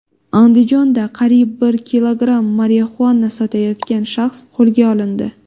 Andijonda qariyb bir kilogramm marixuana sotayotgan shaxs qo‘lga olindi.